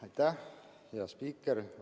Aitäh, hea spiiker!